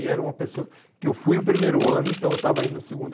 E era uma pessoa que eu fui o primeiro ano, então eu estava indo no segundo.